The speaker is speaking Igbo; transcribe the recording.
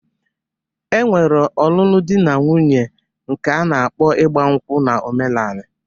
E nwere ọnụnụ di na nwuńye nke a na-akpọ ịgba nkwụ na omenala